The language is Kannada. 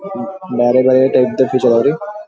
ಬೇರೆ ಬೇರೆ ಟೈಪ್ ದ ಪೂಜಾರಿ.